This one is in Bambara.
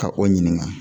Ka o ɲininka